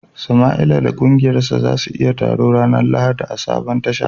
Samaila da kungiyarsa za su yi taro ranar Lahadi a sabon Tasha